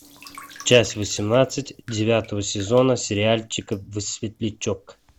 часть восемнадцать девятого сезона сериальчика светлячок